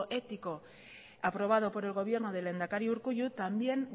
éticoaprobado por el gobierno del lehendakari urkullu también